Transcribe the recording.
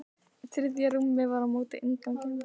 Þriðja rúmið var á móti innganginum.